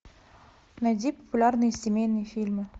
найди популярные семейные фильмы